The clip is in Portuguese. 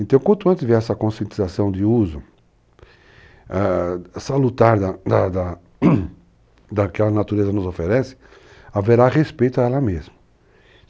Então, quanto antes vier essa conscientização de uso, salutar da da daquilo que a natureza nos oferece, haverá respeito a ela mesma.